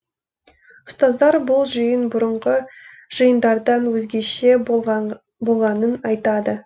ұстаздар бұл жиын бұрынғы жиындардан өзгеше болғанын айтады